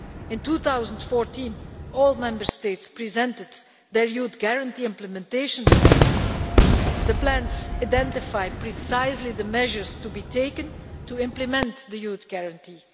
In 2014 all the Member States presented their Youth Guarantee implementation plans, which identify precisely the measures to be taken to implement the Youth Guarantee.